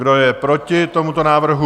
Kdo je proti tomuto návrhu?